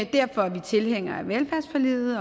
derfor er vi tilhængere af velfærdsforliget